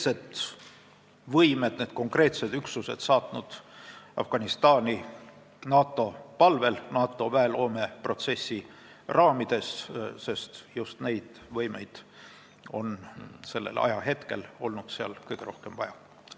Ja me oleme need konkreetsed üksused Afganistani saatnud NATO palvel, NATO väeloome protsessi raamides, sest just neid võimeid on seal sellel ajahetkel kõige rohkem vaja olnud.